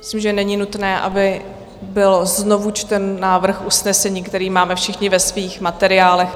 Myslím, že není nutné, aby byl znovu čten návrh usnesení, který máme všichni ve svých materiálech.